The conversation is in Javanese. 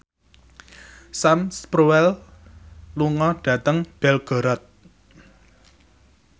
Sam Spruell lunga dhateng Belgorod